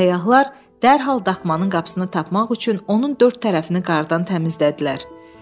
Səyyahlar dərhal daxmanın qapısını tapmaq üçün onun dörd tərəfini qardan təmizlədilər.